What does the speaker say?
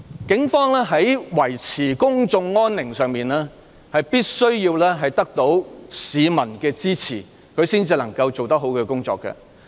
警方在維持公眾安寧上，必須得到市民的支持才能把工作做好。